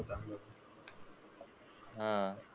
हा.